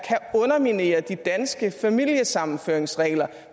her og de danske familiesammenføringsregler